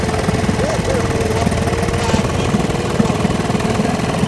ооо базис бронь